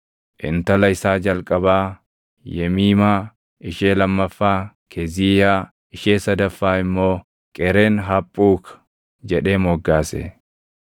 Intala isaa jalqabaa Yemiimaa, ishee lammaffaa Keziiyaa, ishee sadaffaa immoo Qeren-Haphuuk jedhee moggaase.